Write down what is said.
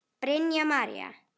Brynja María.